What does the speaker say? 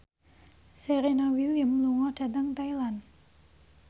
Serena Williams lunga dhateng Thailand